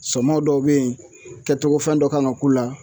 Sɔmɔ dɔw be yen kɛtogo fɛn dɔ kan ka k'u la